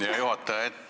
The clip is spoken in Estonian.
Hea juhataja!